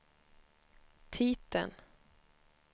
titeln